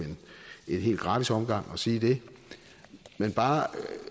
en helt gratis omgang at sige det men bare